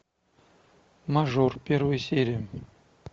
мажор первая серия